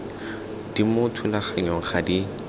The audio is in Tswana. di mo thulaganyong ga di